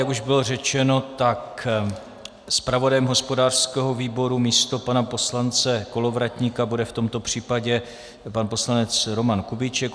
Jak už bylo řečeno, tak zpravodajem hospodářského výboru místo pana poslance Kolovratníka bude v tomto případě pan poslanec Roman Kubíček.